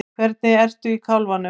Hvernig ertu í kálfanum?